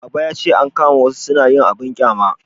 baba ya ce an kama wasu su na yin abun ƙyama